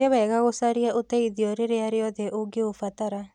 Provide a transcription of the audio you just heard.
Nĩ wega gũcaria ũteithio rĩrĩa rĩothe ũngĩũbatara.